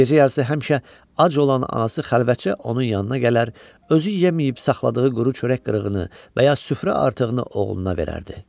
Gecə yarısı həmişə ac olan anası xəlvətcə onun yanına gələr, özü yeməyib saxladığı quru çörək qırığını və ya süfrə artığını oğluna verərdi.